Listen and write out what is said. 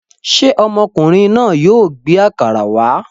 Ṣé ọmọkùnrin náà yóò gbé àkàrà wá?